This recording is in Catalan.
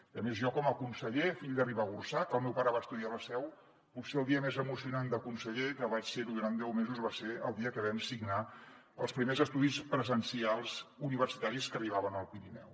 i a més jo com a conseller fill de ribagorçà que el meu pare va estudiar a la seu potser el dia més emocionant de conseller que vaig ser ho durant deu mesos va ser el dia que vam signar els primers estudis presencials universitaris que arribaven al pirineu